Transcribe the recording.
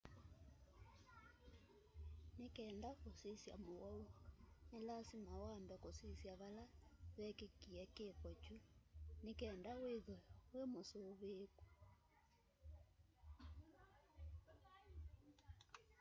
nĩ kenda kũsĩsya mũwaũ nĩ lasĩma wambe kũsĩsya vala vekĩkĩe kĩko kyũ nĩ kenda wĩthwe wĩmũsũvĩĩkũ